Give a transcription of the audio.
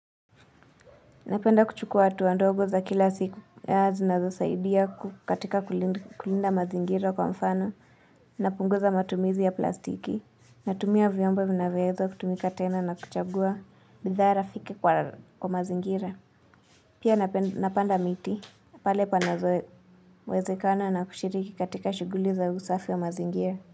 Napenda kuchukua hatua ndogo za kila siku zinazosaidia katika kulinda mazingira kwa mfano napunguza matumizi ya plastiki. Natumia vyombo vinavyoweza kutumika tena na kuchagua bidhaa rafiki kwa mazingira. Pia napanda miti pale panapowezekana na kushiriki katika shuguli za usafi ya mazingira.